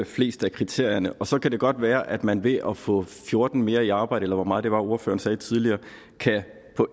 flest af kriterierne og så kan det godt være at man ved at få fjorten personer mere i arbejde eller hvor mange det var ordføreren sagde tidligere kan få